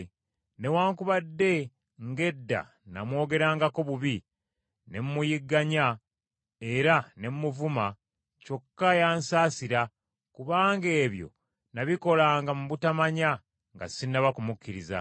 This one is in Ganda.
Newaakubadde ng’edda namwogerangako bubi, ne mmuyigganya era ne mmuvuma, kyokka yansaasira, kubanga ebyo nabikolanga mu butamanya nga sinnaba kumukkiriza.